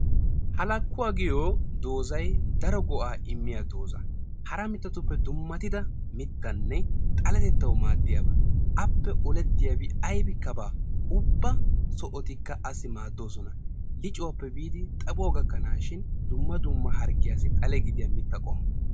Halaakuw agiyo dozay daro go'a immiya doza. Hara mittatupe dummatida mittane xaletettawu maadiyaba. Appe oletiyabi aybbika bawa; ubba sohotika assi maadosona. Liccuwape bidi xaphphuwaa gakanashishin dumma dumma harggiyasi xalle gidiya mitta qommo.